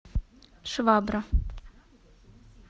швабра